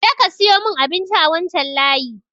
Je ka siyo mun abinci a wancan layi!